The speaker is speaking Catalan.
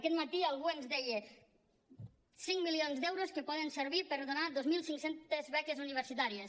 aquest mati algú ens deia cinc milions d’euros que poden servir per donar dos mil cinc cents beques universitàries